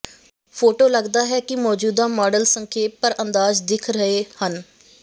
photo ਲੱਗਦਾ ਹੈ ਕਿ ਮੌਜੂਦਾ ਮਾਡਲ ਸੰਖੇਪ ਪਰ ਅੰਦਾਜ਼ ਦਿੱਖ ਰਹੇ ਹਨ